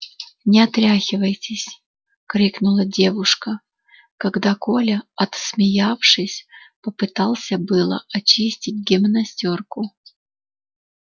не отряхивайтесь крикнула девушка когда коля отсмеявшись попытался было очистить гимнастёрку